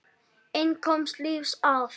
Einn komst lífs af.